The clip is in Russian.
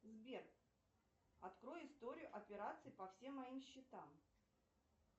сбер открой историю операций по всем моим счетам